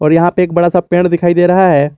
यहां पे एक बड़ा सा पेड़ दिखाई दे रहा है।